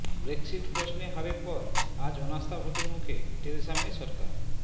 Brexit প্রশ্নে হারের পর আজ অনাস্থা ভোটের মুখে টেরেসা মে সরকার